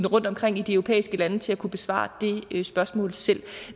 rundtomkring i de europæiske lande til at kunne besvare det spørgsmål selv